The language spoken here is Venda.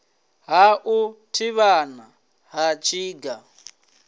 ha u thivhana ha tsinga